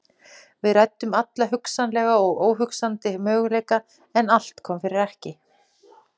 Við ræddum alla hugsanlega og óhugsandi möguleika en allt kom fyrir ekki.